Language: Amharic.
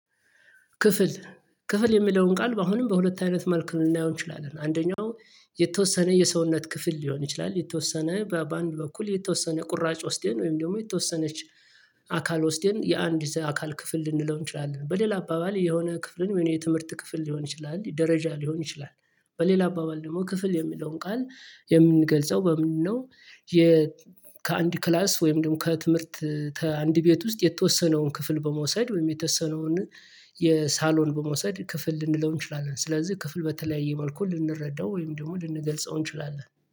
ክፍል ክፍል የሚለውን ቃል አሁንም በሁለት አይነት መልክ ልናየው እንችላለን። አንደኛው የተወሰነ የሰውነት ክፍል ሊሆን ይችላል የተወሰነ በአንድ በኩል የተወሰነ ቁራጭ ወስደን ወይም ደግሞ የተወሰነች አካል ወስደን የአንድ አካል ክፍል ልንለው እንችላለን። በሌላ አባባል የሆነ ክፍልን የትምህርት ክፍል ሊሆን ይችላል ደረጃ ሊሆን ይችላል። በሌላ አባባል ደግሞ ክፍል የሚለውን ቃል የምንገልጸው በምንድነው? ከአንድ ክላስ ወይም ደግሞ ከትምህርት ከአንድ ቤት ውስጥ የተወሰነውን ክፍል በመውሰድ ወይም የተሰነውን የሳሎን በመውሰድ ክፍል ልንለው እንችላለን። ስለዚህ ክፍል በተለያየ መልኩ ልንረዳው ወይም ደግሞ ልንገልጸው እንችላለን